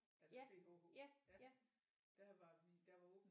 Altså B H H ja der var vi der var åben